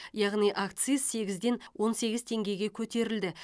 яғни акциз сегізден он сегіз теңгеге көтерілді